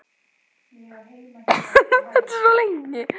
Það var atriði úr bréfinu sem kom mér á sporið.